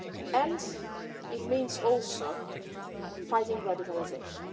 and it means also fighting radicalisation.